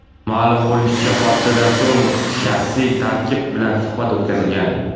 Ma’lum bo‘lishicha, hodisadan so‘ng shaxsiy tarkib bilan suhbat o‘tkazilgan.